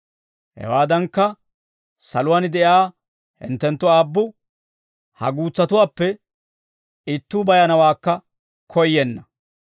Hewaadankka, saluwaan de'iyaa hinttenttu Aabbu ha guutsatuwaappe ittuu bayanawaakka koyyenna.